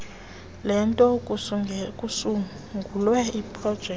lento kusungulwe leprojekthi